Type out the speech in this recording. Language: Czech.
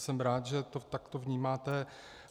Jsem rád, že to takto vnímáte.